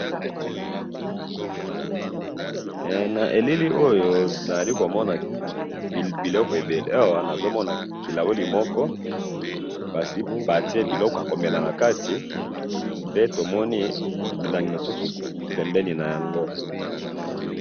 He na elili oyo nazali komona biloko ebele namoni kilahuli moko esi batiye biloko nakati pe tomoni misusu pembeni nayango.